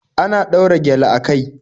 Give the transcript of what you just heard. Ana ɗaura gyale a kai